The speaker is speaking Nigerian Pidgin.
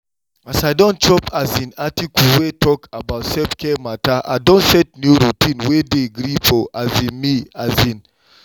as i don chop um article wey talk about self-care matter i don set new routine wey dey gree for um me. um